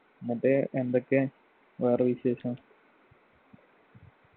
മറ്റേ എന്തൊക്കെണ് വേറെ വിശേഷം